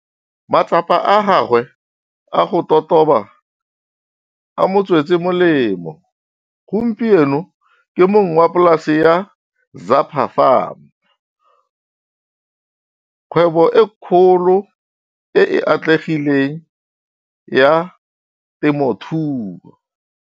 Matsapa a gagwe a go totoba a mo tswetse molemo, gompieno ke mong wa polasi ya Zapa Farm, kgwebo e kgolo e e atlegileng ya temothuo.